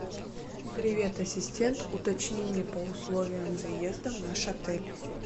привет ассистент уточни мне по условиям заезда в наш отель